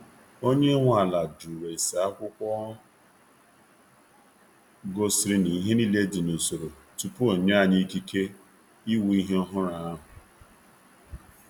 Onye nwe ala jụrụ ese akwụkwọ gosiri na ihe niile dị n’usoro tupu onye anyi ikike ịwụ ihe ọhụrụ ahụ.